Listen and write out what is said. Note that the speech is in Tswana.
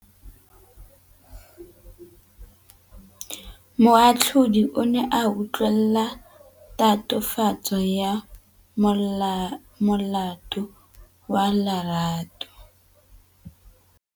Moatlhodi o ne a utlwelela tatofatsô ya molato wa Lerato.